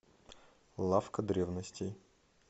лавка древностей